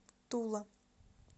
тула